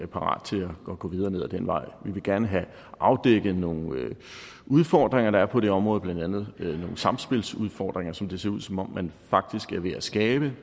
parat til at gå videre ned ad den vej vi vil gerne have afdækket nogle udfordringer der er på det område blandt andet nogle samspilsudfordringer som det ser ud som om man faktisk er ved at skabe